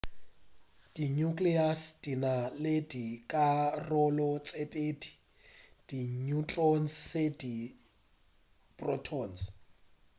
di nucleus di na le dikarolo tše pedi di neutrons le di protons